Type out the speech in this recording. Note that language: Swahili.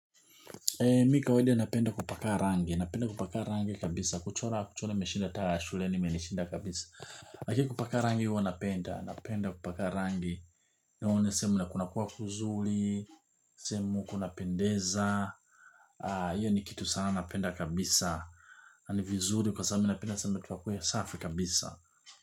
Mi kawaida napenda kupaka rangi, napenda kupaka rangi kabisa, kuchora kuchora imeshinda taa shuleni imenishinda kabisa lakini kupaka rangi huwa napenda, napenda kupaka rangi. Naone sehemu na kunakuwa kuzuri, sehemu kunapendeza. Iyo ni kitu sana napenda kabisa na ni vizuri kwa sababu mi napenda, sana watu wakuwe, safi kabisa.